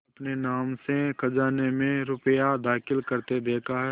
अपने नाम से खजाने में रुपया दाखिल करते देखा है